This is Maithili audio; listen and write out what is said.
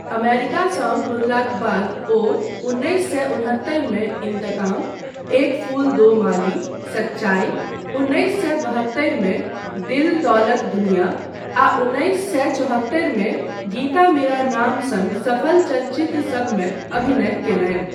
अमेरिकासँ घुरलाक बाद ओ उन्नैस सए उनहत्तरिमे 'इंतकाम', 'एक फूल दो माली', 'सच्चाई', उन्नैस सए बहत्तरिमे 'दिल दौलत दुनिया' आ उन्नैस सए चौहत्तरिमे 'गीता मेरा नाम' सन सफल चलचित्रसभमे अभिनय कयलनि।